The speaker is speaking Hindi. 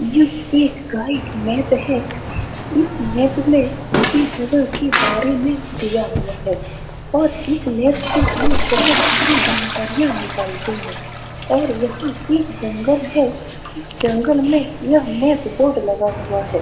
यह एक गाइड मैप है। इस मैप में सभी जगह के बारे में दिया हुआ है और इस मैप से लोग बहुत सारी जानकारिया निकालते है । और यहाँ एक जंगल है। इस जंगल में यह मैप बोर्ड लगा हुआ है।